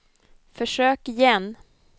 försök igen